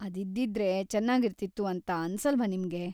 ಅದಿದ್ದಿದ್ರೆ ಚೆನ್ನಾಗಿರ್ತಿತ್ತು ಅಂತ ಅನ್ಸಲ್ವಾ ನಿಮ್ಗೆ?